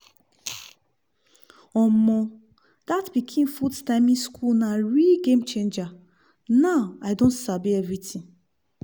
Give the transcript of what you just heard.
omo! that pikin food timing school na real game changer! now i don sabi everything